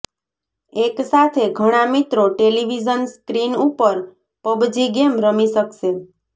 એક સાથે ઘણા મિત્રો ટેલીવિઝન સ્ક્રીન ઉપર પબજી ગેમ રમી શકશે